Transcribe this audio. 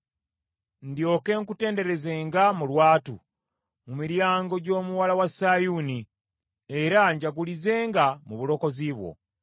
Ndyoke nkutenderezenga mu lwatu mu miryango gy’omuwala wa Sayuuni: era njagulizenga mu bulokozi bwo.